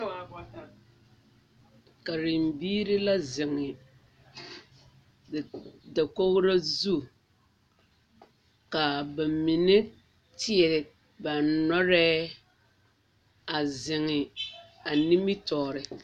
Karembiiri la zeŋ dakogiro zu kaa ba mine kyeere ba nɔrɛɛ a zeŋee a nimitɔɔre